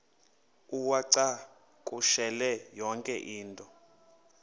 uwacakushele yonke into